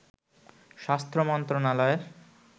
স্বাস্থ্য মন্ত্রাণালয়ের